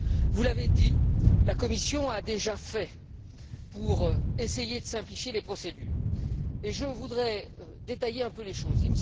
Vous l'avez dit, la Commission a déjà agi pour essayer de simplifier les procédures et je voudrais détailler un peu les choses.